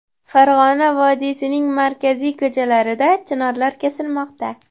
Farg‘ona vodiysining markaziy ko‘chalarida chinorlar kesilmoqda .